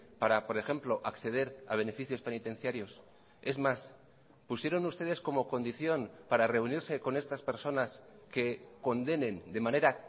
para por ejemplo acceder a beneficios penitenciarios es mas pusieron ustedes como condición para reunirse con estas personas que condenen de manera